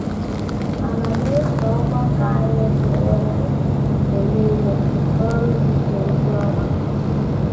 Ana m eso um ọgbakọ anyị ekere òkè mgbe nile n’ọrụ izisa ozi ọma.